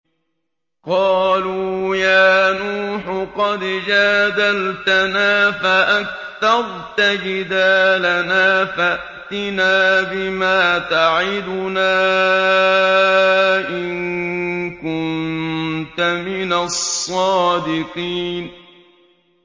قَالُوا يَا نُوحُ قَدْ جَادَلْتَنَا فَأَكْثَرْتَ جِدَالَنَا فَأْتِنَا بِمَا تَعِدُنَا إِن كُنتَ مِنَ الصَّادِقِينَ